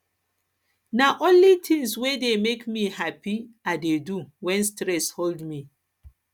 na only tins wey dey make me hapi i dey do wen stress hold me